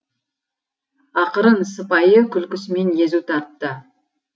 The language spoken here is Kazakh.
ақырын сыпайы күлкісімен езу тартты